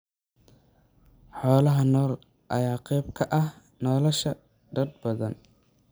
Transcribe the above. Xoolaha nool ayaa qayb ka ah nolosha dad badan.